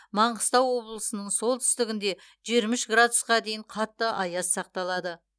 маңғыстау облысының солтүстігінде жиырма үш градусқа дейін қатты аяз сақталады